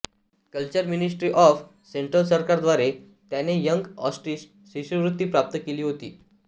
culture ministry of central सरकारद्वारे त्याने young artists शिष्यवृत्ती प्राप्त केली होती